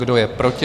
Kdo je proti?